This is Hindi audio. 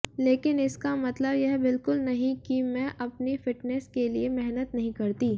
लेकिन इसका मतलब यह बिल्कुल नहीं कि मैं अपनी फिटनेस के लिए मेहनत नहीं करती